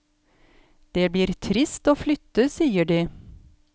Det blir trist å flytte, sier de.